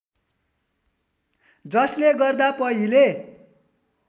जसले गर्दा पहिले